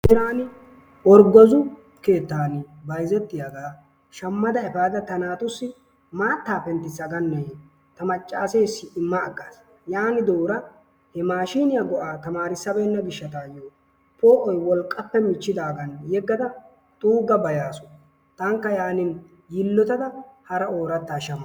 Taani orggozu keettaan bsyzettiyagga shammiida efaada ta naatussi maattaa penttissaganne ta maccaaseessi immagaas, yaanidooro he mashshiniya go'aa tammarssabeenna gishshawu poo'oy wolqqappe michchidaagan yeggada xuugabeyaasu, taanikka yaannin yilotada hara oorattaa shammaas.